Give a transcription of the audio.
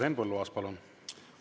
Henn Põlluaas, palun!